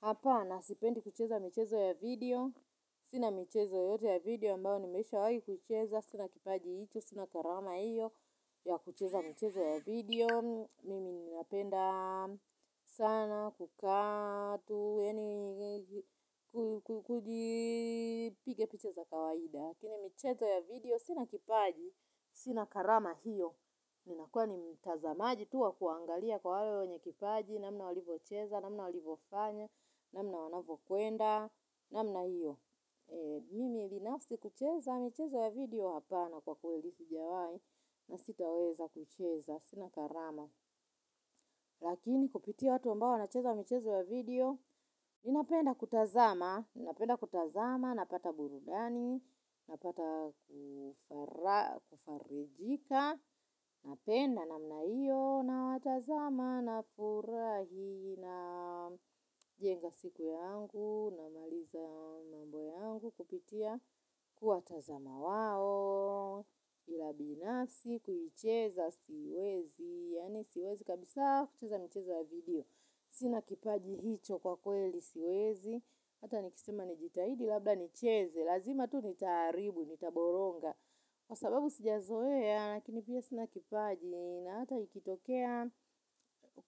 Hapana sipendi kucheza michezo ya video, sina michezo yoyote ya video ambao nimeisha wai kuicheza, sina kipaji icho, sina karama hiyo ya kucheza michezo ya video, mimi napenda sana kukaa tu, yaani kujipiga picha za kawaida. Lakini michezo ya video, sina kipaji, sina karama hiyo. Ninakua ni mtazamaji tu wa kuangalia kwa wale wenye kipaji. Namna walivocheza, namna walivofanya, namna wanavokuenda. Namna hiyo. Mimi binafsi kucheza michezo ya video hapana kwa kweli si jawai. Na sitaweza kucheza, sina karama. Lakini kupitia watu ambao wanacheza michezo ya video ninapenda kutazama napenda kutazama napata burudani. Napata kufarijika. Napenda namna io. Na watazama na furahi na jenga siku yangu. Na maliza mambo yangu kupitia kuwatazama wao. Ila binafsi kuicheza siwezi. Yaani siwezi kabisa kucheza michezo ya video. Sina kipaji hicho kwa kweli siwezi. Hata nikisema nijitahidi labda nicheze. Lazima tu nitaaribu, nitaboronga. Kwa sababu sijazoeya. Na kingine pia sina kipaji. Na hata ikitokea.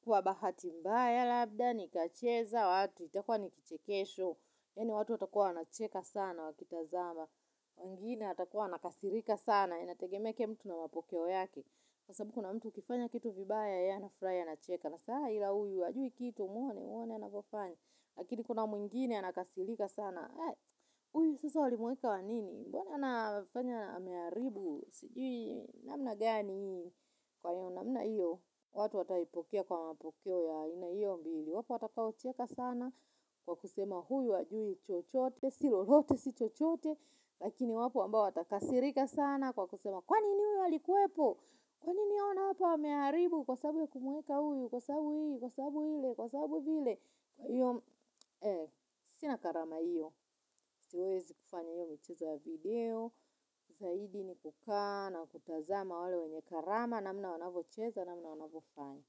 Kwa bahati mbaya labda nikacheza watu, itakua nikichekesho maana watu watakuwa wanacheka sana wakitazama wengine atakuwa anakasirika sana. Inategemea kila mtu na mapokeo yake. Kwa sababu kuna mtu ukifanya kitu vibaya yeye anafurai anacheka. Na saa ila uyu, ajui kitu mwone mwone anavofanya. Lakini kuna mwingine anakasirika sana. Uyu sasa wali muweka wa nini. Mbona nafanya amearibu. Sijui namna gani huyu kwa hiyo namna iyo. Watu wataipokea kwa mapokeo. Ya ina iyo mbili. Wapo wata kaocheka sana. Kwa kusema huyu hajui chochote. Silolote si chochote. Lakini wapo ambao wata kasirika sana. Kwa kusema kwanini huyu ali kuwepo. Kwanini huyu wana wapa wamearibu. Kwa saabu ya kumuweka huyu. Kwa sabu hii. Kwa sabu hile. Kwa sabu hile. Sina karama iyo. Siwezi kufanya iyo michezo ya video. Zaidi ni kukaa na kutazama wale wenye karama. Namna wanavocheza namna wanavo fanya.